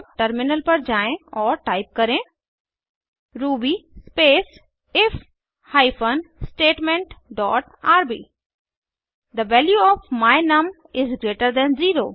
अब टर्मिनल पर जाएँ और टाइप करें Ruby space if hyphen statement dot RB the value of my num is greater than 0